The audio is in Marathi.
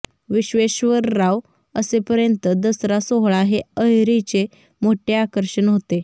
विश्वेश्वरराव असेपर्यंत दसरा सोहळा हे अहेरीचे मोठे आकर्षण होते